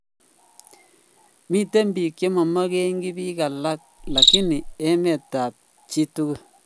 miten pik chemomongin pik alak lakini emet ap chitugul.